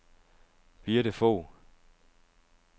Birthe Fogh